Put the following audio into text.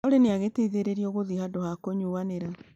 Olly nĩ agĩteithĩrĩirio gũthiĩ handũ ha kũnyuanĩra